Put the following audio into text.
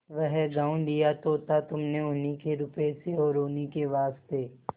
वह गॉँव लिया तो था तुमने उन्हीं के रुपये से और उन्हीं के वास्ते